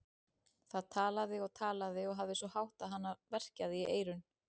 Það talaði og talaði og hafði svo hátt að hana verkjaði í eyrun.